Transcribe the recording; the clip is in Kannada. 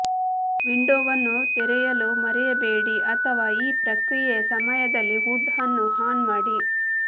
ವಿಂಡೋವನ್ನು ತೆರೆಯಲು ಮರೆಯಬೇಡಿ ಅಥವಾ ಈ ಪ್ರಕ್ರಿಯೆಯ ಸಮಯದಲ್ಲಿ ಹುಡ್ ಅನ್ನು ಆನ್ ಮಾಡಿ